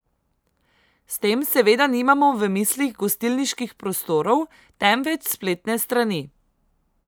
S tem seveda nimamo v mislih gostilniških prostorov, temveč spletne strani.